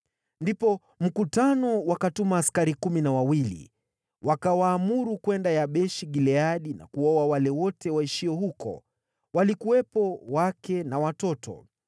Ndipo mkutano wakatuma askari 12,000 na wakawaamuru kwenda Yabeshi-Gileadi na kuwaua wale wote waishio huko, walikuwepo wake na watoto.